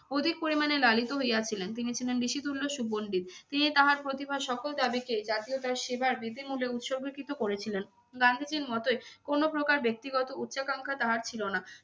অধিক পরিমাণে লালিত হইয়াছিলেন। তিনি ছিলেন ঋষিতুল্য সুপণ্ডিত। তিনি তাহার প্রতিভার সকল দাবিকেই জাতীয়তার সেবার বৃদ্ধিমূল্যে উৎসর্গকৃত করেছিলেন। গান্ধীজীর মতোই কোনো প্রকার ব্যক্তিগত উচ্চাকাঙ্ক্ষা তাহার ছিল না।